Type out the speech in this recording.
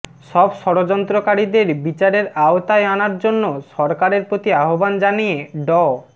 সব ষড়যন্ত্রকারীদের বিচারের আওতায় আনার জন্য সরকারের প্রতি আহ্বান জানিয়ে ড